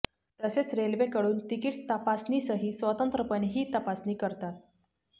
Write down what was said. तसेच रेल्वेकडून तिकीट तपासणीसही स्वतंत्रपणे ही तपासणी करतात